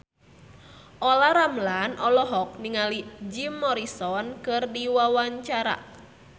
Olla Ramlan olohok ningali Jim Morrison keur diwawancara